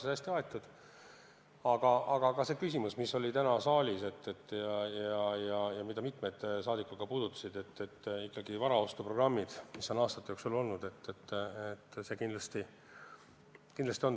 Aga tähtis teema on kindlasti ka see küsimus, mis oli täna saalis ja mida mitmed rahvasaadikud ka puudutasid: see teema on varaostuprogrammid, mis on aastate jooksul olemas olnud.